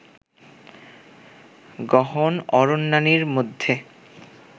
গহন অরণ্যানীর মধ্যে